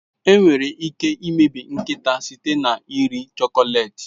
Enwere ike imebi nkịta site na iri chocolate.